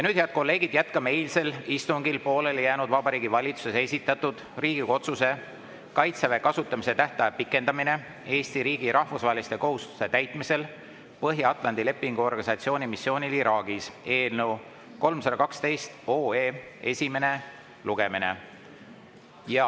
Nüüd, head kolleegid, jätkame eilsel istungil pooleli jäänud Vabariigi Valitsuse esitatud Riigikogu otsuse "Kaitseväe kasutamise tähtaja pikendamine Eesti riigi rahvusvaheliste kohustuste täitmisel Põhja-Atlandi Lepingu Organisatsiooni missioonil Iraagis" eelnõu 312 esimest lugemist.